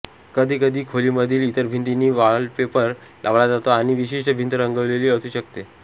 कधीकधी खोलीमधील इतर भिंतींना वॉलपेपर लावला जातो आणि विशिष्ट भिंत रंगवलेली असू शकते